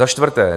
Za čtvrté -